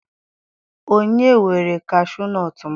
Onye were kashuu nọọtụ m?